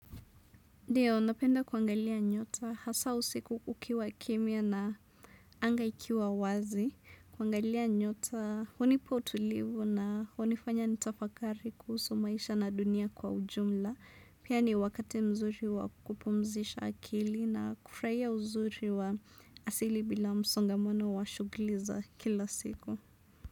Ndiyo, napenda kuangalia nyota, hasa usiku kukiwa kimya na anga ikiwa wazi, kuangalia nyota hunipa utulivu na hunifanya nitafakari kuhusu maisha na dunia kwa ujumla, pia ni wakati mzuri wa kupumzisha akili na kufurahia uzuri wa asili bila msongamano wa shughuli za kila siku.